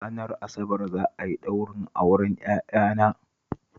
Ranar Asabar za a yi ɗaurin auren yayana